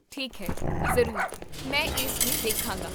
ਠੀਕ ਹੈ, ਜ਼ਰੂਰ, ਮੈਂ ਇਸ ਨੂੰ ਦੇਖਾਂਗਾ